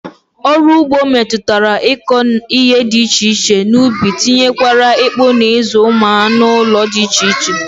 Ọrụ ụgbọ metụtara ịkọ ihe dị iche iche n'ubi tinyekwara ịkpa na ịzụ ụmụ anụụlọ dị iche iche